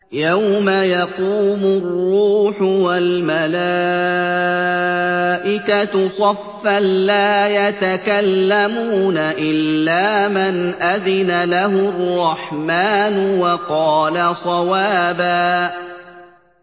يَوْمَ يَقُومُ الرُّوحُ وَالْمَلَائِكَةُ صَفًّا ۖ لَّا يَتَكَلَّمُونَ إِلَّا مَنْ أَذِنَ لَهُ الرَّحْمَٰنُ وَقَالَ صَوَابًا